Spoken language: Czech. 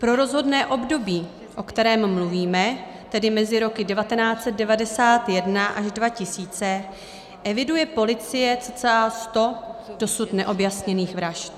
Pro rozhodné období, o kterém mluvíme, tedy mezi roky 1991 až 2000, eviduje policie cca sto dosud neobjasněných vražd.